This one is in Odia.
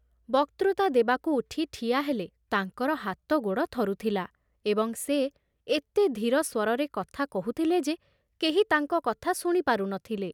ବକ୍ତୃତା ଦେବାକୁ ଉଠି ଠିଆ ହେଲେ ତାଙ୍କର ହାତ ଗୋଡ଼ ଥରୁଥିଲା ଏବଂ ସେ ଏତେ ଧୀର ସ୍ଵରରେ କଥା କହୁଥିଲେ ଯେ କେହି ତାଙ୍କ କଥା ଶୁଣିପାରୁ ନ ଥିଲେ ।